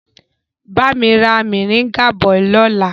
Bami ra moringa bọ̀ lọ́la!